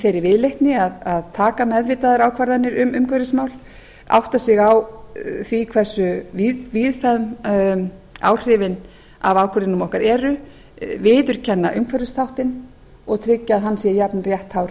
þeirri viðleitni að taka meðvitaðar ákvarðanir um umhverfismál átta sig á því hversu víðfeðm áhrifin af ákvörðunum okkar eru viðurkenna umhverfisþáttinn og tryggja að hann sé jafnrétthár